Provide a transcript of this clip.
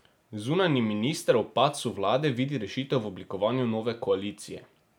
Zunanji minister ob padcu vlade vidi rešitev v oblikovanju nove koalicije.